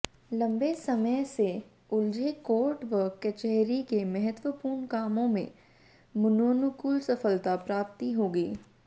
लम्बे समय से उलझे कोर्ट व कचहरी के महत्वपूर्ण कामों में मनोनुकूल सफलता प्राप्ति होगी